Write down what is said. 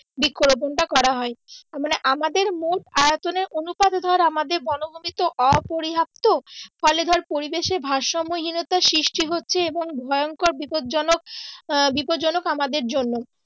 বৃক্ষ রোপন টা করা হয় মানে আমাদের মোট আয়তনের অনুপাতে ধর আমাদের বনভূমি তো অপর্যাপ্ত ফলে ধর পরিবেশের ভারসাম্য হীনতার সৃষ্টি হচ্ছে এবং ভয়ংকর বিপদজনক আহ আমাদের জন্য